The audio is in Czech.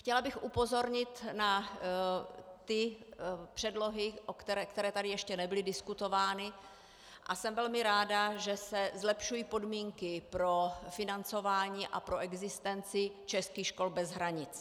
Chtěla bych upozornit na ty předlohy, které tady ještě nebyly diskutovány, a jsem velmi ráda, že se zlepšují podmínky pro financování a pro existenci českých škol bez hranic.